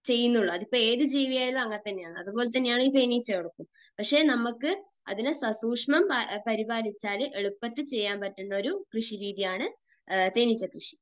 ചെയ്യുന്നുള്ളൂ. അതിപ്പോൾ ഏതു ജീവിയാണെങ്കിലും അങ്ങനെതന്നെയാണ്. അതുപോലെതന്നെയാണ് ഈ തേനീച്ചകളും. പക്ഷെ നമുക്ക് അതിനെ സസൂക്ഷ്മം പരിപാലിച്ചാൽ എളുപ്പത്തിൽ ചെയ്യാൻ പറ്റുന്ന ഒരു കൃഷിരീതിയാണ് തേനീച്ചക്കൃഷി.